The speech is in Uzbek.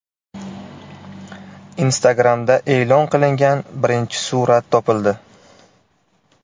Instagram’da e’lon qilingan birinchi surat topildi.